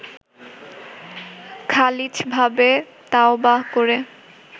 খালিছভাবে তাওবাহ করে